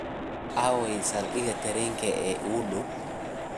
aaway saldhiga tareenka ee iigu dhow?